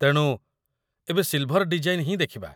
ତେଣୁ, ଏବେ silver design ହିଁ ଦେଖିବା।